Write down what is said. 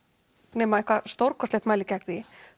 nema eitthvað stórkostlegt mælir gegn því